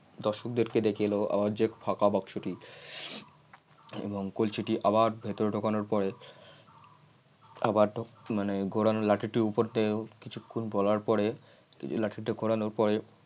দর্শকদের দিকে দেখে এলো আমার যে ফাঁকা বাক্স টি এবং কলসিটি আবার ভেতরের ঢোকানোর পড়ে আবার মানে ঘোরানো লাঠি উপর উপরে কিছুক্ষণ বলার পরে লাঠিটি ঘোরানোর পরে